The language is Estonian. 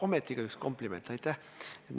Ometigi ka üks kompliment, aitäh!